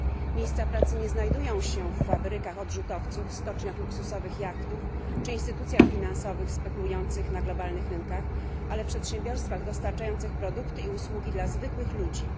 Miejsca pracy nie znajdują się w fabrykach odrzutowców, stoczniach luksusowych jachtów czy instytucjach finansowych spekulujących na globalnych rynkach, ale w przedsiębiorstwach dostarczających produkty i usługi dla zwykłych ludzi.